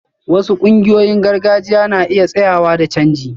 Wasu ƙungiyoyin gargajiya na iya tsayayya da canji